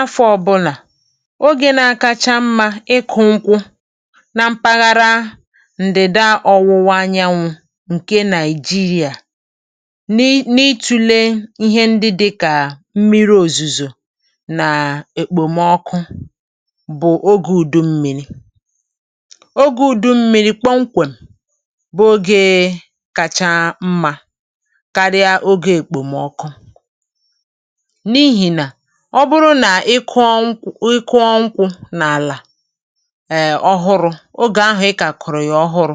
Afọ̀ ọ̀bụla, oge kacha mma maka ịkụ̀ nkwụ n’ime mpaghara ndịda ọ̀wụ̀wa anyanwụ Naịjíríà, n’ịtụ̀le mmiri ozuzo na okpomọkụ, bụ̀ oge ụ̀dụ̀ mmiri. Ụ̀dụ̀ mmiri bụ oge kacha mma, oge kacha mma, karịa oge ọkọchị̀. Ọ bụrụ na ị kụ̀o nkwụ n’ala ọhụrụ n’oge ụ̀dụ̀ mmiri, mgbe ị kụ̀rọ̀ ya ọhụrụ,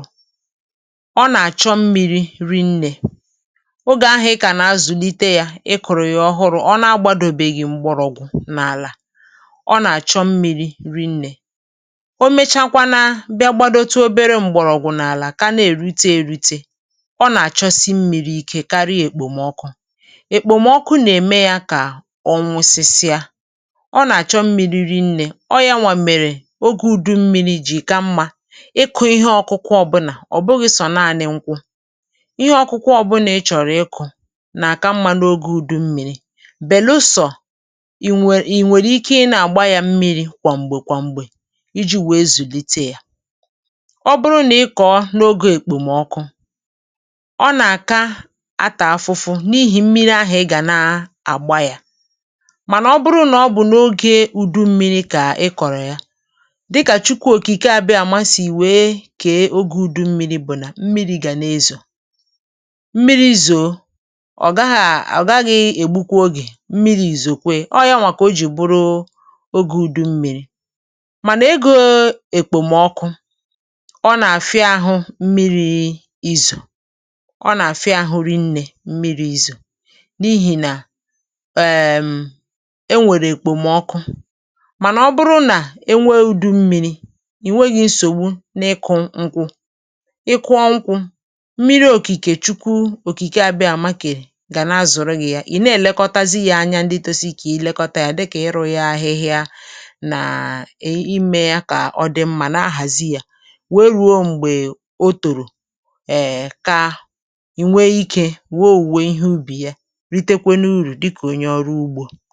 ọ na-achọ mmìrì̀ rìnnē, mmìrì̀ rìnnē, n’oge ahụ̀. Ka ị na-azụ̀lite ya, mgbe ị kụ̀rọ̀ ya ọhụrụ, ọ na-amalite ịgbàdò mgbọrọ̀gwụ̀ n’ala, ọ na-achọ mmìrì̀ rìnnē, mmìrì̀ rìnnē. Mgbe e mechàrà, ọ na-etolite obere mgbọrọ̀gwụ̀ n’ala ma na-erite nri, ma ọ ka na-achọ mmìrì̀ karịa oge ọkọchị̀. Nke a bụ n’ihi ya ka oge ụ̀dụ̀ mmiri bụ oge kacha mma maka ịkụ̀. Nke a abụghị naanị maka nkwụ, abụghị naanị maka nkwụ, ma ọ bụkwa maka ihe ọkụkụ ndị ọzọ ị chọ̀rọ̀ ịkụ̀. Ụ̀dụ̀ mmiri bụ oge kacha mma, ọ bụ ezie na ọ dịkwa mkpa ị na-àgbakwa ya mmìrì̀ kwa mgbe, kwa mgbe, iji mee ka ọ zùlite nke ọma. um Ọ bụrụ na ị kụ̀rọ̀ ya n’oge ọkọchị̀, ọ gà-alụ̀ ọgụ, ọ gà-ata ahụhụ. Ma ọ bụrụ na ị kụ̀rọ̀ ya n’oge ụ̀dụ̀ mmiri, mmiri ozuzo gà-enyere ya ka ọ zùlite nke ọma, mmiri ozuzo gà-enyere ya ka ọ zùlite nke ọma. N’oge ọnwa ụ̀dụ̀ mmiri, mmìrì̀ na-abịa mgbe niile, mmìrì̀ na-abịa mgbe niile, ma enweghị nsogbu. Ma n’oge ọkọchị̀, okpomọkụ na-eme ka mmìrì̀ daa ụkọ, okpomọkụ na-eme ka mmìrì̀ daa ụkọ, nke na-eme ka ịkụ̀ sie ike. Mgbe mmìrì̀ dị, enweghi ihe mgbochi n’ịkụ̀ nkwụ maọ̀bụ ihe ọkụkụ ndị ọzọ. Nke a bụ okike Chineke, onyinye Chineke, nke bịara inyere gị aka. Mgbe ị na-elekọta ha nke ọma na-epù ahịhịa gbara ha gburugburu ma hụ na a haziere ha nke ọma ha gà-eto nke ọma, ha gà-eto nke ọma. Ma mgbe ha gà-eto ma tozuo oke, ị gà-anweta ezigbo owuwe ihe ubi, ị gà-anweta ezigbo owuwe ihe ubi.